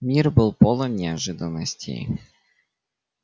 мир был полон неожиданностей